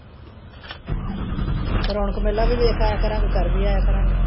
ਰੌਣਕ ਮੇਲਾ ਵੀ ਵੇਖ ਆਇਆ ਕਰਾਂਗੇ ਕਰ ਵੀ ਆਇਆ ਕਰਾਂਗੇ।